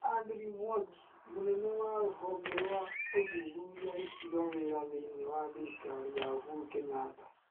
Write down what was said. Andrew Mwangi: Mũnene wa rũvonge rwa ũthuthuria gutiga wira thĩiniĩ wa thirĩkari ya Uhuru Kenyatta.